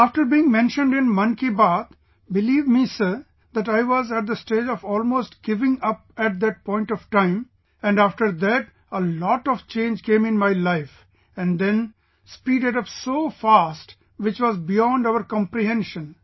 After being mentioned in 'Mann Ki Baat', believe me Sir, that I was at the stage of almost giving up at that point of time and after that a lot of change came in my life and then speeded up so fast which was beyond our comprehension